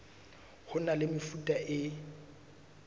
ho na le mefuta e